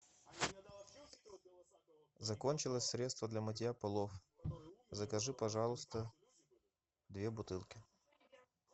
закончилось средство для мытья полов закажи пожалуйста две бутылки